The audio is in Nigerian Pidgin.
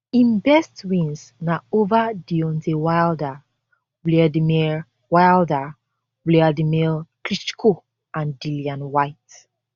im best wins na ova deontay wilder wladimir wilder wladimir klitschko and dillian whyte